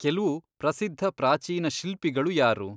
ಕೆಲ್ವು ಪ್ರಸಿದ್ಧ ಪ್ರಾಚೀನ ಶಿಲ್ಪಿಗಳು ಯಾರು?